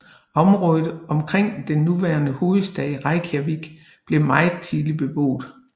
Området omkring den nuværende hovedstad Reykjavik blev meget tidligt beboet